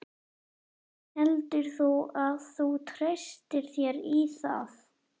Heldur þú að þú treystir þér í það?